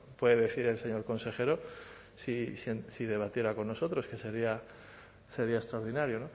puede decir el señor consejero si debatiera con nosotros que sería extraordinario